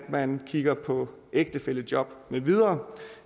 man kigger på ægtefællejob med videre